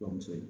Bamuso ye